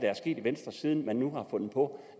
er sket i venstre siden man nu har fundet på